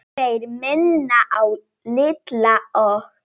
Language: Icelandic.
Þeir minna á Litla og